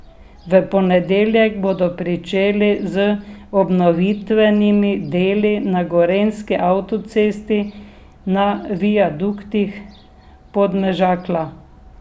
V ponedeljek bodo pričeli z obnovitvenimi deli na gorenjski avtocesti na viaduktih Podmežakla.